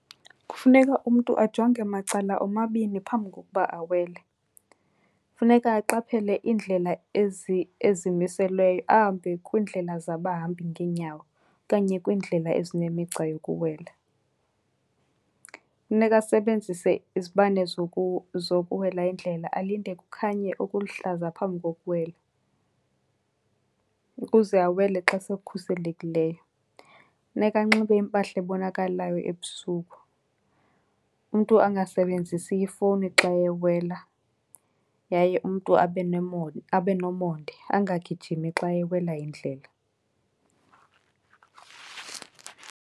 Kufuneka umntu ajonge macala omabini phambi kokuba awele. Funeka aqaphele iindlela ezimiselweyo ahambe kwiindlela zabahambi ngeenyawo okanye kwiindlela ezinemigca yokuwela. Funeka asebenzise izibane zokuwela indlela, alinde kukhanye okuluhlaza phambi kokuwela ukuze awele xa sekhuselekileyo. Funeka anxibe impahla ebonakalayo ebusuku. Umntu angasebenzisi ifowuni xa ewela yaye umntu abe , abe nomonde angagijimi xa ewela indlela.